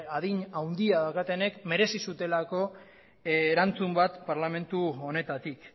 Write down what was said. adin handia daukatenek merezi zutelako erantzun bat parlamento honetatik